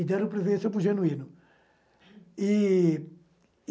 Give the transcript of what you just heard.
E deram preferência para o Genuíno. E